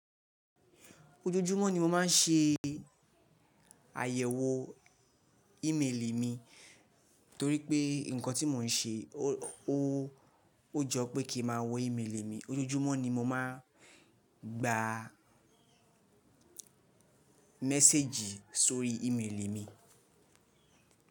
Ojoojúmọ́ ni mo máa ń ṣe àyẹ̀wò ímeèlì mi torí pé nǹkan tí mò ń ṣe ó jọ pé kí ma wò ímeèlì mi. Ojoojúmọ́ ni mo máa ń gba méséjì sórí ímeèlì mi.